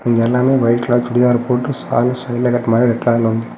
இங்க எல்லாருமே white colour churidar போட்டு ஷால் சைடுல கட்டுற மாரி .]